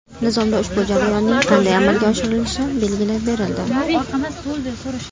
Nizomda ushbu jarayonning qanday amalga oshirilishi belgilab berildi.